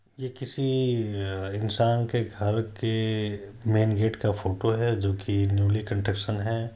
यह किसी इंसान के घर के मैन गेट का फोटो है जो कि न्यौली कंस्ट्रक्शन है।